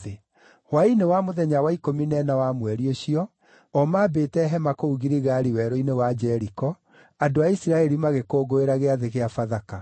Hwaĩ-inĩ wa mũthenya wa ikũmi na ĩna wa mweri ũcio, o maambĩte hema kũu Giligali werũ-inĩ wa Jeriko, andũ a Isiraeli magĩkũngũĩra Gĩathĩ kĩa Bathaka.